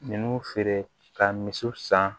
Ninnu feere ka misiw san